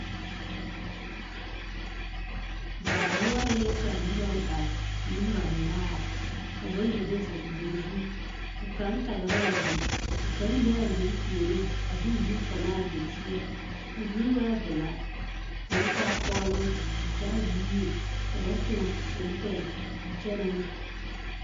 Baa noɔreŋ la ka noba are, nembanaare, ka bayi do zeŋ wiri zu ka kaŋ tagera a wiri ka kaŋ be a wiri puoriŋ a de o nu tɔ ne a wiri seɛ, a wiri waa velaa k'o taa kɔɔloŋ a taa o nimmie ka ba toŋ selepɛɛse a kyɛnɛ ne.